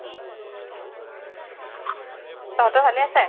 তহঁতৰ ভালে আছে?